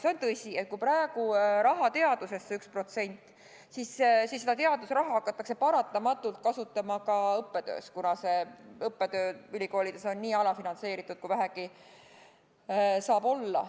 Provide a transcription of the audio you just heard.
See on tõsi, et kui praegu antakse raha teadusesse 1%, siis hakatakse seda teadusraha paratamatult kasutama ka õppetöös, sest ülikoolides on õppetöö nii alafinantseeritud, kui vähegi saab olla.